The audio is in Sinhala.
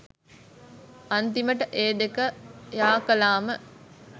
අන්තිමට ඒ දෙක යාකලාම